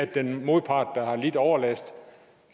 den modpart der har lidt overlast